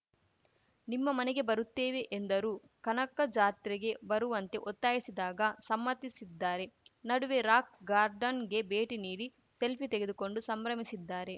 ನಿಮ್ಮ ಮನೆಗೆ ಬರುತ್ತೇವೆ ಎಂದರೂ ಕನಕ ಜಾತ್ರೆಗೆ ಬರುವಂತೆ ಒತ್ತಾಯಿಸಿದಾಗ ಸಮ್ಮತಿಸಿದ್ದಾರೆ ನಡುವೆ ರಾಕ್‌ ಗಾರ್ಡನ್‌ಗೆ ಭೇಟಿ ನೀಡಿ ಸೆಲ್ಫಿ ತೆಗೆದುಕೊಂಡು ಸಂಭ್ರಮಿಸಿದ್ದಾರೆ